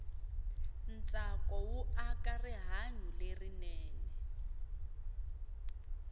ntsako wu aka rihanyu lerinene